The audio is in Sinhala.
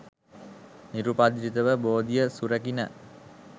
නිරුපද්‍රිතව බෝධිය සුරැකිණ.